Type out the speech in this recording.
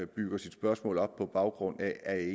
bygger sit spørgsmål op på baggrund af er jeg